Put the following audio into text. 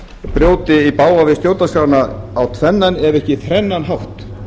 brjóti í bága við stjórnarskrána á tvennan ef ekki þrennan hátt